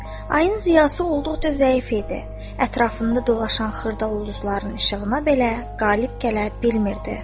Ayın ziyası olduqca zəif idi, ətrafında dolaşan xırda ulduzların işığına belə qalib gələ bilmirdi.